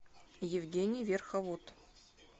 евгений верховод